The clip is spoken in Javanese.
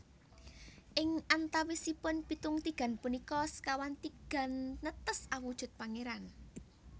Ing antawisipun pitung tigan punika sekawan tigan netes awujud pangéran